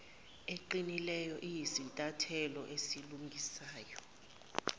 eqinileyo iyisinyathelo esilungisayo